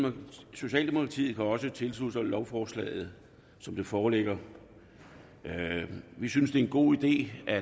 socialdemokratiet kan også tilslutte sig lovforslaget som det foreligger vi synes det er en god idé at